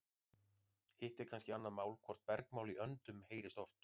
Hitt er kannski annað mál hvort bergmál í öndum heyrist oft.